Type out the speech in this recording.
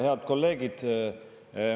Head kolleegid!